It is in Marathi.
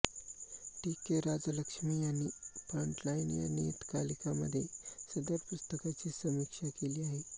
टी के राजलक्ष्मी यांनी फ्रंटलाइन या नियतकालिकामध्ये सदर पुस्तकाची समीक्षा केली आहे